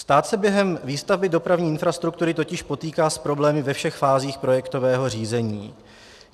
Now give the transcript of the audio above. Stát se během výstavby dopravní infrastruktury totiž potýká s problémy ve všech fázích projektového řízení.